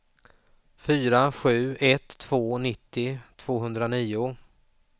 fyra sju ett två nittio tvåhundranio